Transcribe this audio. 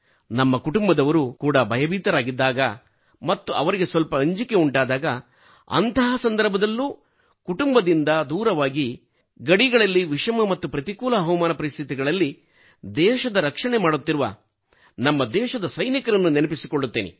ನಮ್ಮ ಕುಟುಂಬದವರು ಕೂಡಾ ಭಯಭೀತರಾಗಿದ್ದಾಗ ಮತ್ತು ಅವರಿಗೆ ಸ್ವಲ್ಪ ಅಂಜಿಕೆಯುಂಟಾದಾಗ ಅಂತಹ ಸಂದರ್ಭದಲ್ಲಿ ಕುಟುಂಬದಿಂದ ದೂರವಾಗಿ ಗಡಿಗಳಲ್ಲಿ ವಿಷಮ ಮತ್ತು ಪ್ರತಿಕೂಲ ಹವಾಮಾನ ಪರಿಸ್ಥಿತಿಗಳಲ್ಲಿ ದೇಶದರಕ್ಷಣೆ ಮಾಡುತ್ತಿರುವ ನಮ್ಮದೇಶದ ಸೈನಿಕರನ್ನು ನೆನಪಿಸಿಕೊಳ್ಳುತ್ತೇನೆ